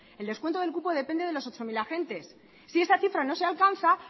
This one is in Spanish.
el descuento del cupo depende de los ocho mil agentes si esa cifra no se alcanza